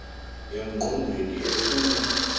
e ngqondweni efuna